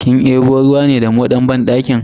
Kin debo ruwa ne da moɗan banɗakin?